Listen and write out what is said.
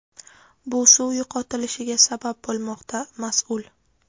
bu suv yo‘qotilishiga sabab bo‘lmoqda – mas’ul.